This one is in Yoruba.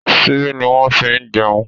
Ṣíbí ni wọ́n fi ní jẹun.